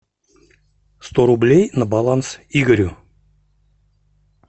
сто рублей на баланс игорю